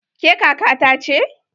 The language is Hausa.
Ke kaka ta ce?